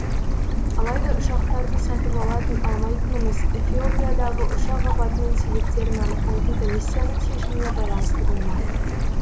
алайда ұшақтарды сатып алатын алмайтынымыз эфиопиядағы ұшақ апатының себептерін анықтайтын комиссияның шешіміне байланысты болмақ